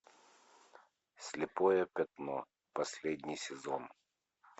слепое пятно последний сезон